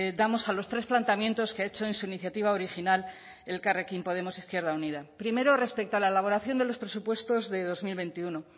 damos a los tres planteamientos que ha hecho en su iniciativa original elkarrekin podemos izquierda unida primero respecto a la elaboración de los presupuestos de dos mil veintiuno